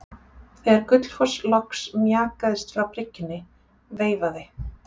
Þegar Gullfoss loks mjakaðist frá bryggjunni veifaði